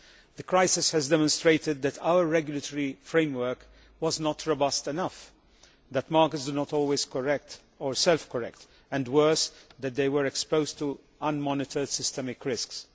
The crisis has demonstrated that our regulatory framework was not robust enough, that markets do not always self correct and, worse, that they were exposed to unmonitored systemic risks.